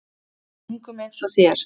Engum eins og þér.